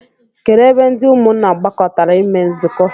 Kedụ ebe ndị ụmụnna gbakọtara eme nzukọ?